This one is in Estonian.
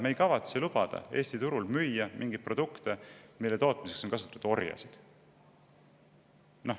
Me ei kavatse lubada Eesti turul müüa mingeid produkte, mille tootmiseks on kasutatud orjasid.